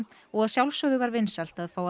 og að sjálfsögðu var vinsælt að fá að